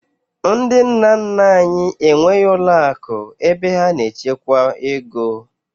Ndị nna nna anyị enweghị ụlọakụ ebe ha na-echekwa ego